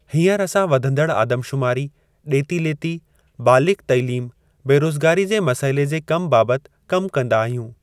हीअंर असां वधंदड़ आदमशुमारी, डे॒ती - लेती, बालिगु़ तइलीम, बेरोज़गारी जे मसइले जे कम बाबति कमु कंदा आहियूं।